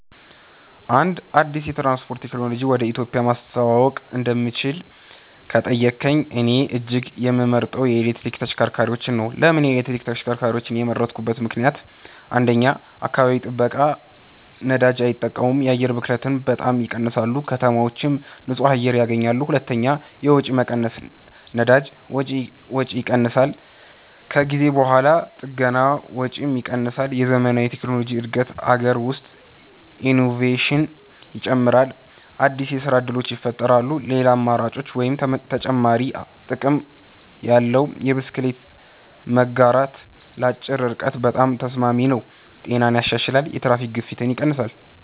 አንድ አዲስ የትራንስፖርት ቴክኖሎጂ ወደ ኢትዮጵያ ማስተዋወቅ እንደምችል ከተጠየቀኝ፣ እኔ እጅግ የምመርጠው የኤሌክትሪክ ተሽከርካሪዎች ነው። ለምን ኤሌክትሪክ ተሽከርካሪዎችን የመረጥኩበት ምክንደያት? 1. አካባቢ ጥበቃ ነዳጅ አይጠቀሙም የአየር ብክለትን በጣም ይቀንሳሉ ከተማዎች ንጹህ አየር ያገኛሉ 2. የወጪ መቀነስ ነዳጅ ወጪ ይቀንሳል ከጊዜ በኋላ ጥገና ወጪም ይቀንሳል የዘመናዊ ቴክኖሎጂ እድገት አገር ውስጥ ኢኖቬሽን ይጨምራል አዲስ የስራ እድሎች ይፈጠራሉ ሌላ አማራጭ (ተጨማሪ ጥቅም ያለው) የብስክሌት መጋራት ለአጭር ርቀት በጣም ተስማሚ ነው ጤናን ያሻሽላል የትራፊክ ግፊት ይቀንሳል